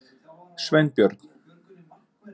Sveinbjörn